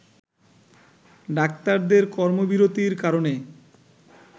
ডাক্তারদের কর্মবিরতীর কারণে